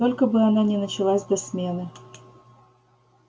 только бы она не началась до смены